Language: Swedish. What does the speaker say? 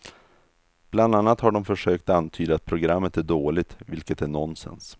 Bland annat har de försökt antyda att programmet är dåligt, vilket är nonsens.